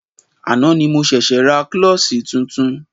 Àná ni mo ṣẹ̀ṣė ra klọ́ṣí tuntun.